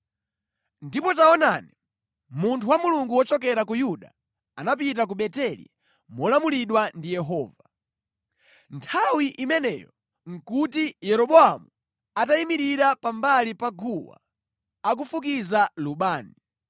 Ndipo taonani, munthu wa Mulungu wochokera ku Yuda anapita ku Beteli molamulidwa ndi Yehova. Nthawi imeneyo nʼkuti Yeroboamu atayimirira pambali pa guwa akufukiza lubani.